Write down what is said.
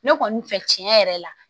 Ne kɔni fɛ tiɲɛ yɛrɛ la